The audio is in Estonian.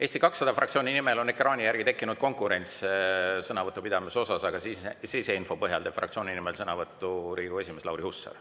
Eesti 200 fraktsiooni nimel on ekraani järgi tekkinud konkurents sõnavõtu pidamise osas, aga siseinfo põhjal teeb fraktsiooni nimel sõnavõtu Riigikogu esimees Lauri Hussar.